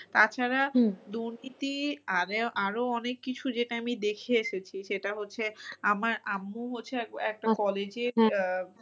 তাছাড়া দুর্নীতি আরো অনেক কিছু যেটা আমি দেখে এসেছি সেটা হচ্ছে আমার আম্মু হচ্ছে একটা college এ আহ